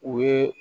U ye